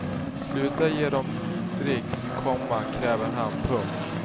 Sluta ge dem dricks, komma kräver han. punkt